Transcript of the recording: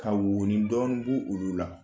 Ka wɔnidɔni bbugu b' olu la